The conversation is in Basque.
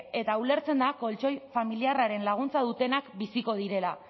eta ulertzen da koltxoi familiarraren laguntza dutenak biziko direla